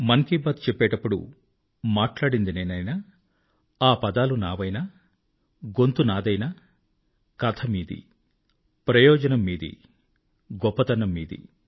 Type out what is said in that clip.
మన్ కీ బాత్ చెప్పేటపుడు మాట్లాడింది నేనైనా ఆ పదాలు నావైనా గొంతు నాదైనా కథ మీది ప్రయోజనం మీది గొప్పతనం మీది